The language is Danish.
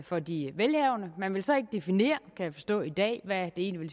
for de velhavende man vil så ikke definere kan jeg forstå i dag hvad det egentlig